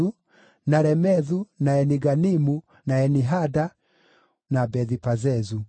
na Remethu, na Eni-Ganimu, na Eni-Hada, na Bethi-Pazezu.